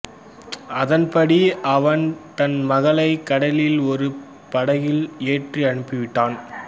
அதன்படி அவன் தன் மகளைக் கடலில் ஒரு படகில் ஏற்றி அனுப்பிவிட்டான்